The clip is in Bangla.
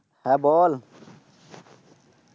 হ্যাঁ বল।